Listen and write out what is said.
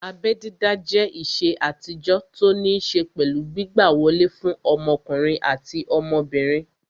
Abẹ́ dídá jẹ́ ìṣe àtijọ́ tó ní ṣé pẹ̀lú gbígbà wọlé fún ọmọkùnrin àti ọmọbìnrin